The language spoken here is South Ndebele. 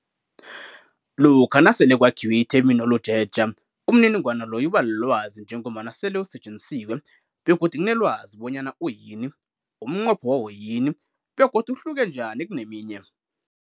Lokha nasele kwakhiwe itheminoloji etja, umniningwana loyo ubalilwazi njengombana sele usetjenzisiwe begodu kunelwazi bonyana uyini, umnqopho wawo yini begodu umhlake njani kuneminye.